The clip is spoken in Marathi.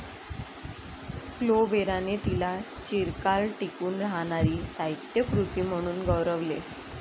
फ्लोबेराने तिला 'चिरकाल टिकून राहणारी साहित्यकृती' म्हणून गौरवले.